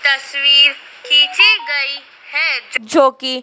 तस्वीर खींची गई है जो कि--